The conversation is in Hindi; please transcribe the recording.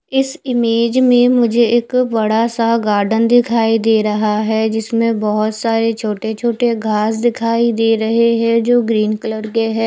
इस इमेज में मुझे एक बड़ा सा गार्डन दिखाई दे रहा है जिसमे बहोत सारे छोटी छोटी घास दिखाई दे रही है जो ग्रीन कलर की है।